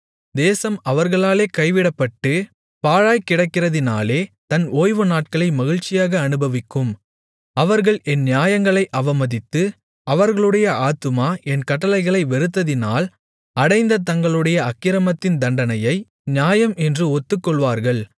தேசம் அவர்களாலே கைவிடப்பட்டு பாழாய்க்கிடக்கிறதினாலே தன் ஓய்வுநாட்களை மகிழ்ச்சியாக அனுபவிக்கும் அவர்கள் என் நியாயங்களை அவமதித்து அவர்களுடைய ஆத்துமா என் கட்டளைகளை வெறுத்ததினால் அடைந்த தங்களுடைய அக்கிரமத்தின் தண்டனையை நியாயம் என்று ஒத்துக்கொள்ளுவார்கள்